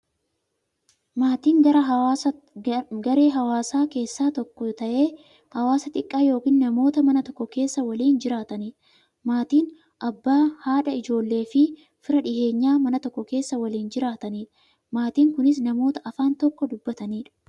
Maatiin garaa hawaasaa keessaa tokko ta'ee, hawaasa xiqqaa yookin namoota Mana tokko keessaa waliin jiraataniidha. Maatiin Abbaa, haadha, ijoolleefi fira dhiyeenyaa, Mana tokko keessaa waliin jiraataniidha. Maatiin kunis, namoota afaan tokko dubbataniidha.